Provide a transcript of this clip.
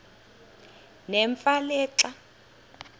nemfe le xa